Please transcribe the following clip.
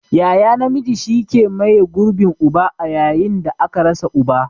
Yaya namiji shi ke maye gurbin uba a yayin da aka rasa uba.